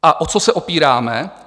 A o co se opíráme?